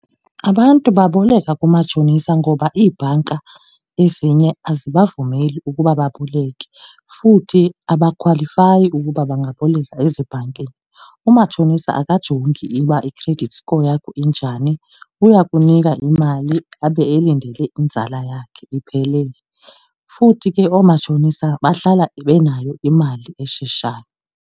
Abantu baboleka kumatshonisa ngoba iibhanka ezinye azibavumeli ukuba baboleke futhi abakhwalifayi ukuba bangaboleka ezibhankini. Umatshonisa akajongi uba i-credit score yakho injani. Uya kunika imali abe ilindele inzala yakhe iphelele futhi ke oomatshonisa bahlala benayo imali esheshayo.